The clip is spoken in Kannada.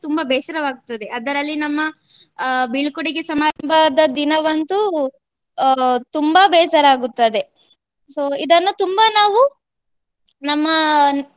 ತುಂಬಾ ಬೇಸರವಾಗ್ತದೆ. ಅದರಲ್ಲಿ ನಮ್ಮ ಅಹ್ ಬೀಳ್ಕೊಡುಗೆ ಸಮಾರಂಭದ ದಿನವಂತು ಅಹ್ ತುಂಬಾ ಬೇಸರ ಆಗುತ್ತದೆ. so ಇದನ್ನು ತುಂಬಾ ನಾವು ನಮ್ಮ